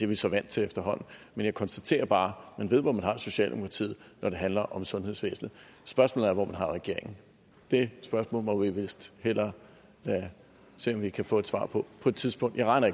vi så vant til efterhånden men jeg konstaterer bare at man ved hvor man har socialdemokratiet når det handler om sundhedsvæsenet spørgsmålet er hvor man har regeringen det spørgsmål må vi vist hellere se om vi kan få et svar på på et tidspunkt jeg regner